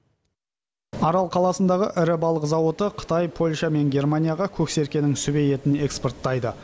арал қаласындағы ірі балық зауыты қытай польша мен германияға көксеркенің сүбе етін экспорттайды